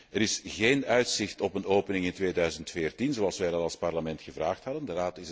Er is geen uitzicht op een opening in 2014, zoals wij dat als Parlement gevraagd hadden.